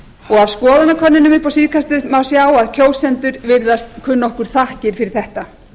og af skoðanakönnunum upp á síðkastið má sjá að kjósendur virðast kunna okkur þakkir fyrir þetta